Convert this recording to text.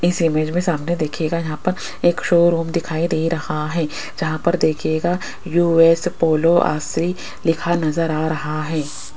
इस इमेज में सामने देखियेगा यहां पर एक शोरूम दिखाई दे रहा है जहां पर देखियेगा यू_एस पोलो अस्सी लिखा नजर आ रहा है।